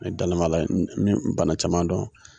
Ne dalen b'a la n ye bana caman dɔn